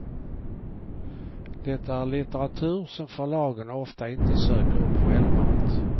Det är litteratur som förlagen ofta inte söker upp självmant.